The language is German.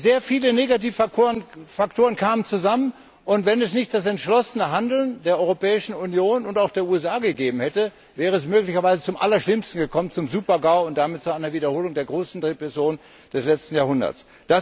Sehr viele Negativfaktoren kamen zusammen, und wenn es nicht das entschlossene Handeln der Europäischen Union und auch der USA gegeben hätte, wäre es möglicherweise zum Allerschlimmsten gekommen, zum Supergau und damit zu einer Wiederholung der großen Rezession des letzten Jahrhunderts.